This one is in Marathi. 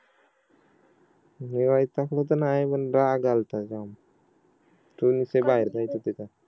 मी वैतागलो तर नाही पण राग आलता जाम तु आणि ते बाहेर जायचं तिथे